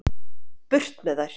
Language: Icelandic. Burt með þær